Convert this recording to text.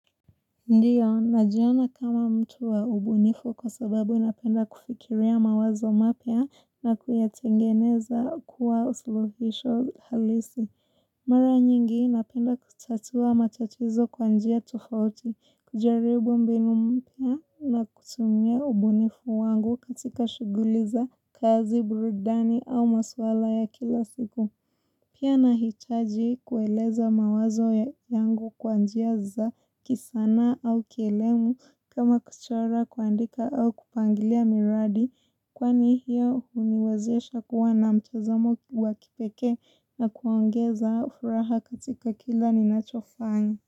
Ndiyo, najiona kama mtu wa ubunifu kwa sababu inapenda kufikiria mawazo mapea na kuyatengeneza kuwa usolofisho halisi. Mara nyingi inapenda kutatua matatizo kwanjia tufauti, kujaribu mbinu mpia na kutumia ubunifu wangu katika shuguliza kazi burudani au maswala ya kila siku. Pia nahitaji kueleza mawazo yangu kwa njia za kisanaa au kelemu kama kuchora kuandika au kupangilia miradi kwa ni hiyo huniwaziesha kuwa na mtazamo wa kipeke na kuongeza furaha katika kila ni nachofa.